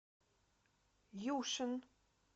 юшин